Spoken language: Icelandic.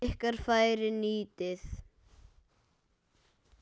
Ykkar færi nýtið.